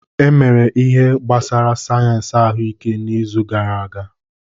E emere ihe gbasara sayensị ahụike n'izu gara aga.